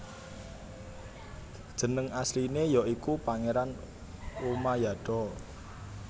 Jeneng asline ya iku Pangeran Umayado